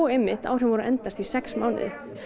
áhrifin voru að endast í sex mánuði